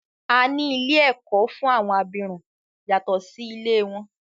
A ní ilé ẹ̀kọ́ fún àwọn abirùn yàtọ̀ sí ilé wọn.